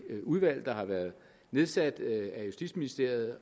udvalg om huseftersynsordningen der har været nedsat af justitsministeriet